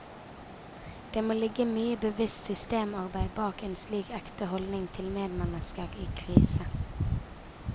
Det må ligge mye bevisst systemarbeid bak en slik ekte holdning til medmennesker i krise.